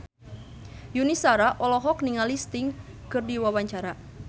Yuni Shara olohok ningali Sting keur diwawancara